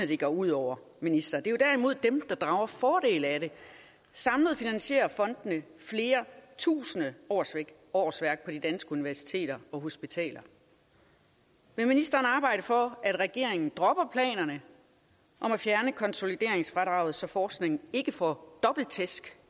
det går ud over minister det er derimod dem der drager fordel af det samlet finansierer fondene flere tusinde årsværk årsværk på de danske universiteter og hospitaler vil ministeren arbejde for at regeringen dropper planerne om at fjerne konsolideringsfradraget så forskningen ikke får dobbelt tæsk